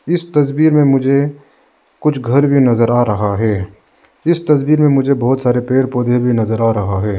इस तस्वीर में मुझे कुछ घर भी नजर आ रहा है इस तस्वीर में मुझे बहुत सारे पेड़ पौधे भी नजर आ रहा है।